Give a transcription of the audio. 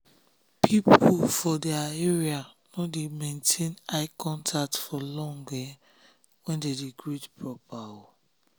people for their um area no dey maintain eye contact for long when dem dey greet proper.